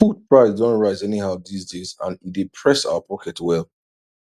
food price don rise anyhow these days and e dey press our pocket well